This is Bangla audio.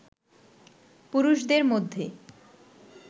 পুরুষদের মধ্যে